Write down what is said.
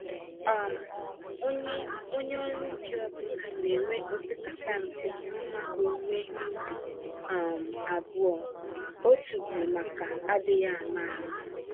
um Onye Onye ọrụ ubi ọ bụla na enwe opekata mpe mmá owuwe ihe ubi um abụọ - otu bụ maka adịghị àmà-àmà